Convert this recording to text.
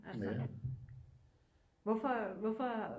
Altså hvorfor hvorfor